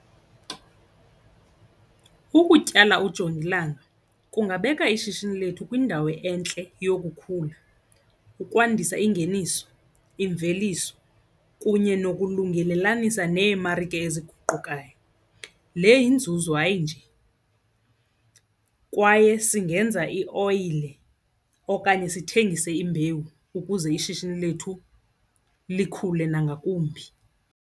Ukutyala ujongilanga kungabeka ishishini lethu kwindawo entle yokukhula, ukwandisa ingeniso, imveliso kunye nokulungelelanisa neemari eziguqukayo. Le yinzuzo hayi nje, kwaye singenza ioyile okanye sithengise imbewu ukuze ishishini lethu likhule nangakumbi.